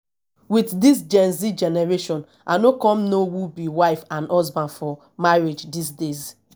with dis genz generation i no come know who be wife and husband for marriage dis days